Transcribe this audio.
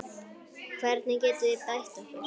Hvernig getum við bætt okkur?